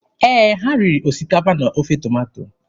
Ee, ha riri osikapa na ofe tomato.